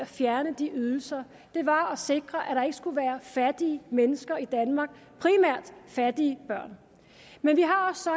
fjernede de ydelser var at sikre at der ikke skulle være fattige mennesker i danmark primært fattige børn men vi har så